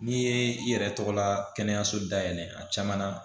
N'i ye i yɛrɛ tɔgɔ la kɛnɛyaso dayɛlɛ a caman na